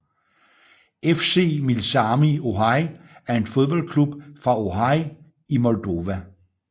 FC Milsami Orhei er en fodboldklub fra Orhei i Moldova